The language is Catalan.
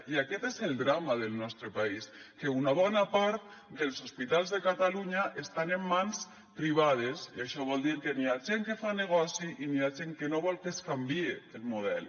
i aquest és el drama del nostre país que una bona part dels hospitals de catalunya estan en mans privades i això vol dir que n’hi ha gent que fa negoci i n’hi ha gent que no vol que es canvie el model